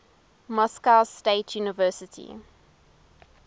moscow state university